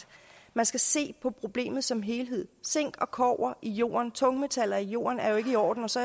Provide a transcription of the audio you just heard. man skal se på problemet som helhed zink og kobber i jorden tungmetaller i jorden er jo ikke i orden og så